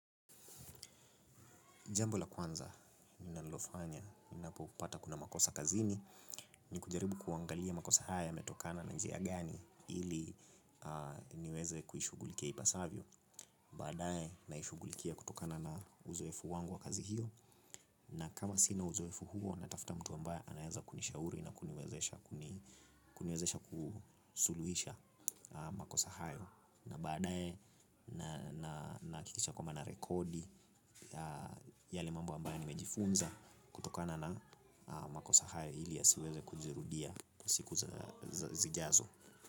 Jambo la kwanza, ninalofanya ninapo pata kuna makosa kazini, ni kujaribu kuangalia makosa haya yametokana na njia gani ili niweze kuishughulikia ipasavyo. Badaye, naishughulikia kutokana na uzoefu wangu wa kazi hiyo, na kama sina uzoefu huo, natafuta mtu ambaye anaweza kunishauri na kuniwezesha kusuluhisha makosa hayo. Na baadaye na hakikisha kwamba na rekodi yale mambo ambaye nimejifunza kutokana na makosa hayo ili yasiweze kujirudia siku zijazo.